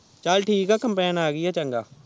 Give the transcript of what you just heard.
ਚਾਲ ਠੀਕ ਆ ਕੰਪੈਨ ਆ ਗਯੀ ਆ ਚੰਗਾ